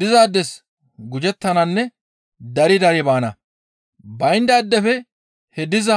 Dizaades gujettananne dari dari baana; bayndaadefe he diza